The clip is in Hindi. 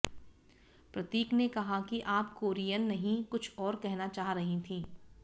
प्रतीक ने कहा कि आप कोरियन नहीं कुछ और कहना चाह रही थीं